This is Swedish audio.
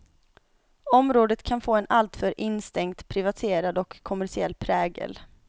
Området kan få en alltför instängt privatierad och kommersiell prägel.